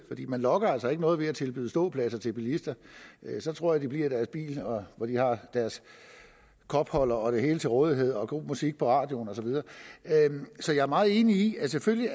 man lokker altså ikke nogen ved at tilbyde ståpladser til bilister så tror jeg de bliver i deres bil hvor de har deres kopholder og det hele til rådighed og god musik i radioen og så videre så jeg er meget enig i at det selvfølgelig